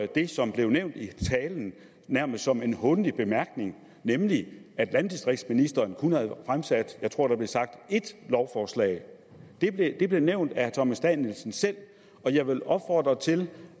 det som blev nævnt i talen nærmest som en hånlig bemærkning nemlig at landdistriktsministeren kun havde fremsat jeg tror der blev sagt ét lovforslag det blev nævnt af herre thomas danielsen selv og jeg vil opfordre til